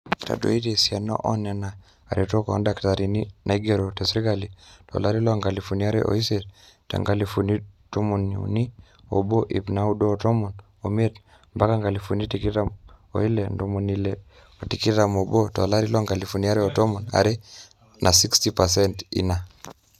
etadoitie esiana oonena aretok oordakitarini naaigerito sirkali tolari loo nkalifuni are ooiisiet te nkalifuni tomoniuni oobo ip naaudo o tomon oimiet mbaka nkalifuni tikitam oile ntomoni ile otikitam oobo tolari loonkalifuni are otomon aare na 60 percent ina